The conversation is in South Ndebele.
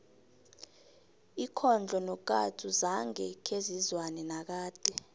ikhondlo nokatsu zange khezizwane nakade